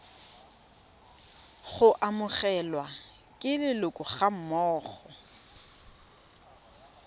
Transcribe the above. go amogelwa ke leloko gammogo